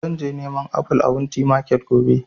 Zan je neman aful a wunti market gobe